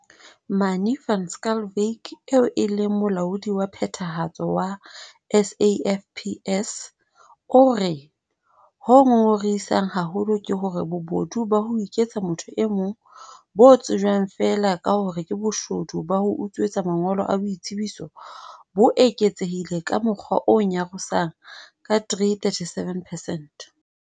Manie van Schalkwyk, eo e leng Molaodi wa Phethahatso wa SAFPS, o re- Ho ngongorisang haholo ke hore bobodu ba ho iketsa motho e mong - bo tsejwang feela ka hore ke boshodu ba ho utswetswa mangolo a boitsebiso - bo eketsehile ka mokgwa o nyarosang ka 337 percent.